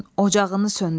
Ocağını söndürün